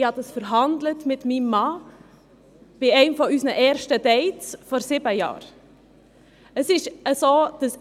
Ich habe es mit meinem Mann bei einem unserer ersten Dates vor sieben Jahren so ausgehandelt.